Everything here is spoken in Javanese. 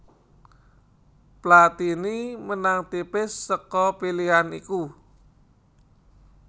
Platini menang tipis saka pilihan iku